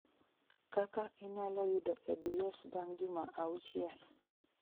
kaka inyalo yudo abs bang' juma auchiel